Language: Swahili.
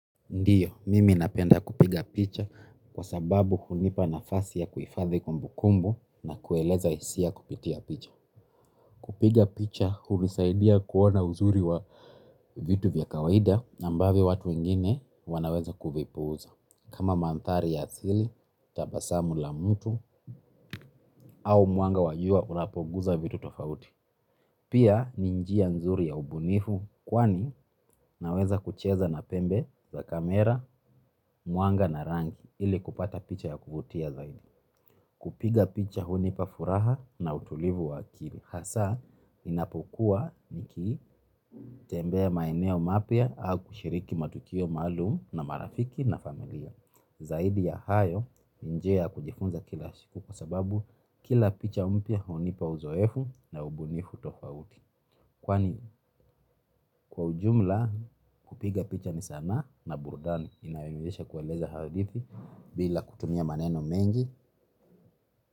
Ndiyo, mimi napenda kupiga picha kwa sababu hunipa nafasi ya kuhifadhi kumbu kumbu na kueleza hisia kupitia picha. Kupiga picha hunisaidia kuona uzuri wa vitu vya kawaida amabavyo watu wengine wanaweza kuvipuuza. Kama mandhari ya asili, tabasamu la mtu, au mwanga wa jua unapogusa vitu tofauti. Pia ni njia nzuri ya ubunifu kwani naweza kucheza na pembe za kamera, mwanga na rangi ili kupata picha ya kuvutia zaidi. Kupiga picha hunipa furaha na utulivu wa akili. Hasa inapokua nikitembea maeneo mapya au kushiriki matukio maalumu na marafiki na familia. Zaidi ya hayo ni njia kujifunza kila siku kwa sababu kila picha mpia hunipa uzoefu na ubunifu tofauti. Kwani kwa ujumla kupiga picha ni sana na burdani inayoweza kuonyesha hadithi bila kutumia maneno mengi.